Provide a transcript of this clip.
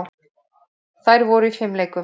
Þær voru í fimleikum.